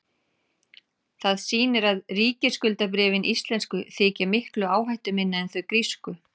það sýnir að ríkisskuldabréfin íslensku þykja miklu áhættuminni en þau grísku